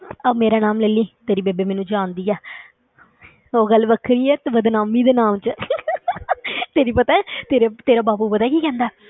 ਆਹ ਮੇਰਾ ਨਾਮ ਲੈ ਲਈਂ, ਤੇਰੀ ਬੇਬੇ ਮੈਨੂੰ ਜਾਣਦੀ ਹੈ ਉਹ ਗੱਲ ਵੱਖਰੀ ਹੈ ਤੂੰ ਬਦਨਾਮੀ ਦੇ ਨਾਮ 'ਚ ਤੈਨੂੰ ਪਤਾ ਹੈ, ਤੇਰੇ ਤੇਰਾ ਬਾਪੂ ਪਤਾ ਕੀ ਕਹਿੰਦਾ ਹੈ,